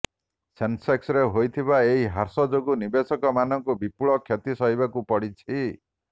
ସେନ୍ସେକ୍ସରେ ହୋଇଥିବା ଏହି ହ୍ରାସ ଯୋଗୁ ନିବେଶକମାନଙ୍କୁ ବିପୁଳ କ୍ଷତି ସହିବାକୁ ପଡ଼ିଛି